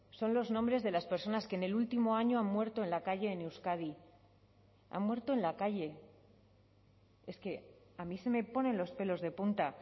son los nombres de las personas que en el último año han muerto en la calle en euskadi han muerto en la calle es que a mí se me ponen los pelos de punta